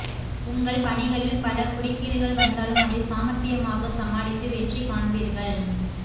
உங்கள் பணிகளில் பல குறுக்கீடுகள் வந்தாலும் அதை சாமர்த்தியாமாக சமாளித்து வெற்றி காண்பீர்கள்